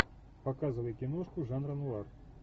показывай киношку жанра нуар